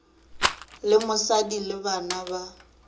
le mosadi le bana ba